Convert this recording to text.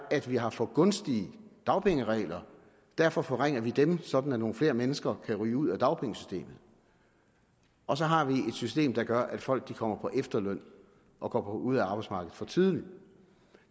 at vi har for gunstige dagpengeregler og derfor forringer vi dem sådan at nogle flere mennesker kan ryge ud af dagpengesystemet og så har vi et system der gør at folk kommer på efterløn og går ud af arbejdsmarkedet for tidligt